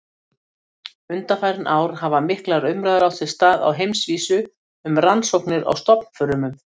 Undanfarin ár hafa miklar umræður átt sér stað á heimsvísu um rannsóknir á stofnfrumum.